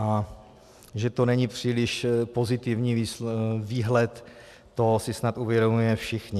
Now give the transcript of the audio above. A že to není příliš pozitivní výhled, to si snad uvědomujeme všichni.